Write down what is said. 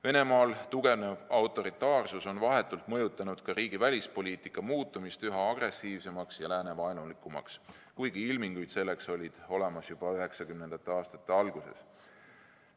Venemaal tugevnev autoritaarsus on vahetult mõjutanud ka riigi välispoliitika muutumist üha agressiivsemaks ja läänevaenulikumaks, kuigi ilmingud selleks olid olemas juba 1990. aastate alguses.